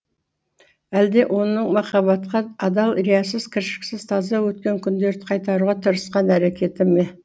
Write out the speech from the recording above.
әлде оның махаббатқа адал риясыз кіршіксіз таза өткен күндерді қайтаруға тырысқан әрекеті ме